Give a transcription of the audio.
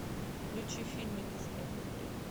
включи фильм и смех и грех